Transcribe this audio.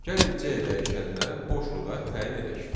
Gəlin C dəyişəninə boş lüğət təyin edək.